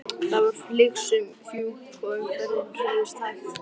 Það var flygsufjúk og umferðin hreyfðist hægt.